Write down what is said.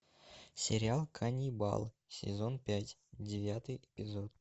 сериал каннибал сезон пять девятый эпизод